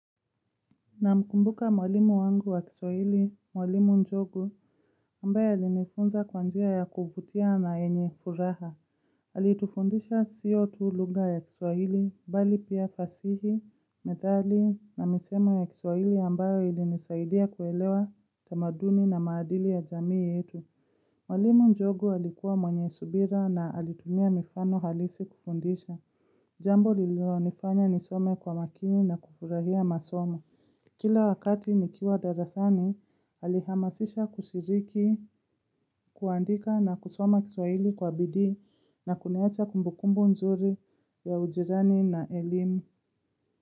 Namkumbuka mwalimu wangu wa kiswahili, mwalimu Njogu, ambaye alinifunza kwa njia ya kuvutia na yenye furaha. Alitufundisha sio tu lugha ya kiswahili, bali pia fasihi, methali, na misemo ya kiswahili ambayo ilinisaidia kuelewa tamaduni na maadili ya jamii yetu. Mwalimu Njogu alikuwa mwenye subira na alitumia mifano halisi kufundisha. Jambo lilonifanya nisome kwa makini na kufurahia masomo. Kila wakati nikiwa darasani, alihamasisha kushiriki, kuandika na kusoma kiswahili kwa bidii na kuniacha kumbukumbu nzuri ya ujirani na elimu.